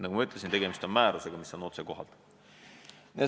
Nagu ma ütlesin, tegemist on määrusega, mis on otsekohalduv.